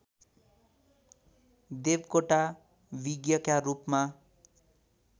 देवकोटा विज्ञका रूपमा